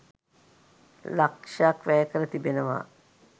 ලක්ෂක් වැය කර තිබෙනවා.